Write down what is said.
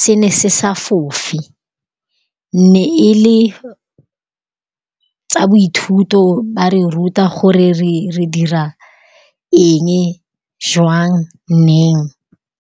se ne se sa fofe. Ne e le tsa bo ithuto ba re ruta gore re dira eng, jwang neng.